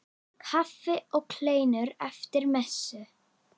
Kaffi og kleinur eftir messu.